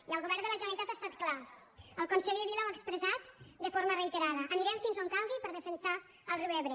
i el govern de la generalitat ha estat clar el conseller vila ho ha expressat de forma reiterada anirem fins on calgui per defensar el riu ebre